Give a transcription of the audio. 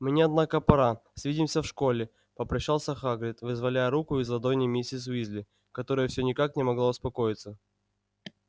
мне однако пора свидимся в школе попрощался хагрид вызволяя руку из ладоней миссис уизли которая всё никак не могла успокоиться